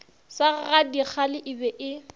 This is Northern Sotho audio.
sa gadikgale e be e